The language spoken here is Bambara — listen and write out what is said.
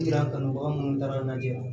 Kanubaga minnu taara lajɛ